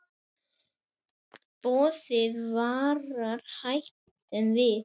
Boð þig varar hættum við.